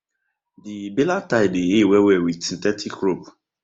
di baler tie dey hay wellwell with synthetic rope